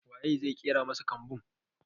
Wa ye zai ƙera masa kambin?